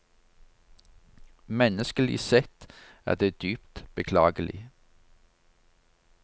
Menneskelig sett er det dypt beklagelig.